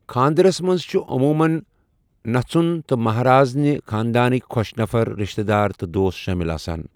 خاندرسَ منٛز چھِ عموٗمَن نژھُن تہٕ مہراز نہِ خانٛدانٕکۍ خۄش نفَر، رشتہٕ دار تہٕ دوس شٲمِل آسان۔